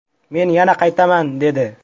Men yana qaytaman”, dedi.